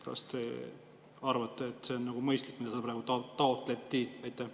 Kas te arvate, et see on mõistlik, mida siin praegu taotleti?